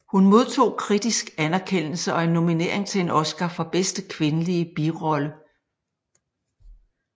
Hun modtog kritisk anerkendelse og en nominering til en Oscar for bedste kvindelige birolle